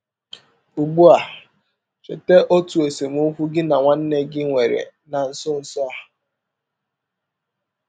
Ụgbụ a, cheta ọtụ esemọkwụ gị na nwanne gị nwere na nsọ nsọ a.